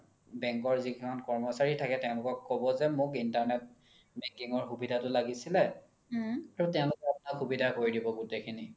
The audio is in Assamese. bank ৰ যি সকল কৰ্মচাৰি থাকে তেওলোকক ক্'ব যে মোক internet banking ৰ সুবিধা তো লাগিছিলে তৌ তেওলোকে আপোনাক সুবিধা কৰি দিব গুতেই খিনি